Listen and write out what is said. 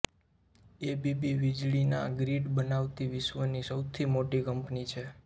ABB વિજળી ના grid બનાવતિ વિશ્વ ની સૌથી મોટી કંપની છે